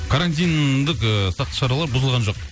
карантиндік ыыы сақтық шаралар бұзылған жоқ